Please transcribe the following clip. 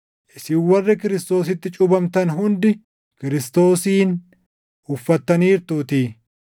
isin warri Kiristoositti cuuphamtan hundi Kiristoosin uffattaniirtuutii.